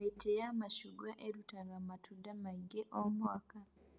Mĩtĩ ya macungwa ĩrũtaga matunda maingĩ o mũaka